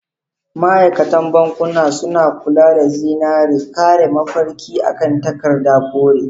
Ma'aikatan bankunamasu kula da zinare, kare mafarki a kan takarda kore.